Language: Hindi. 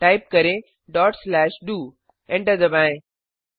टाइप करें डॉट स्लैश डीओ एंटर दबाएं